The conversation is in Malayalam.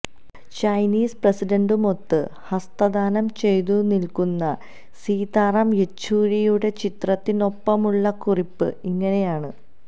ചൈനീസ് പ്രസിന്റുമൊത്ത് ഹസ്തദാനം ചെയ്തു നില്ക്കുന്ന സീതാറാം യെച്ചൂരിയുടെ ചിത്രത്തിനൊപ്പമുള്ള കുറിപ്പ് ഇങ്ങനെയാണ്